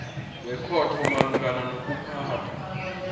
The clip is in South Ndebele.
wekhotho malungana nokuphathwa